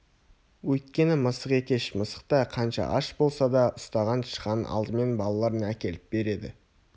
өйткені мысық екеш мысық та қанша аш болса да ұстаған тышқанын алдымен балаларына әкеліп береді